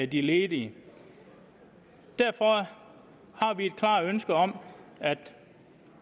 de ledige derfor har vi et klart ønske om at